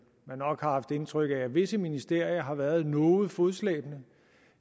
nok har haft indtryk af at visse ministerier har været noget fodslæbende